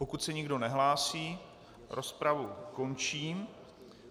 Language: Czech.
Pokud se nikdo nehlásí, rozpravu končím.